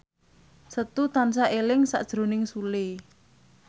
Setu tansah eling sakjroning Sule